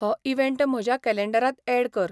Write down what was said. हो इवँट म्हज्या कॅलेंडरांत ऍड कर